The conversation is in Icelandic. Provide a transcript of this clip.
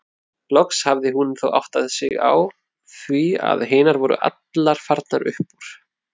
Loks hafði hún þó áttað sig á því að hinar voru allar farnar upp úr.